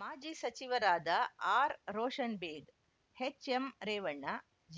ಮಾಜಿ ಸಚಿವರಾದ ಆರ್‌ರೋಷನ್‌ಬೇಗ್‌ ಎಚ್‌ಎಂರೇವಣ್ಣ